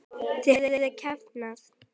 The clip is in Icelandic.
Þau höfðu kafnað.